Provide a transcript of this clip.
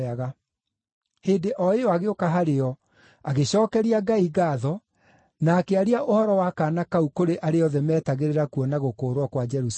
Hĩndĩ o ĩyo agĩũka harĩo, agĩcookeria Ngai ngaatho, na akĩaria ũhoro wa kaana kau kũrĩ arĩa othe meetagĩrĩra kuona gũkũũrwo kwa Jerusalemu.